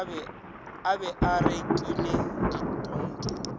a be a rekile ditonki